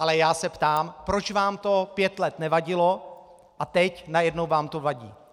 Ale já se ptám, proč vám to pět let nevadilo a teď najednou vám to vadí.